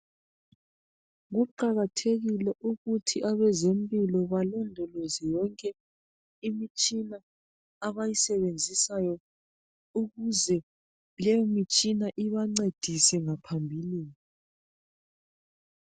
Kuqakathekile ukuthi abezempilo balondoloze yonke imitshina abayisebenzisayo ukuze leyo mitshina ibancedise ngaphambilini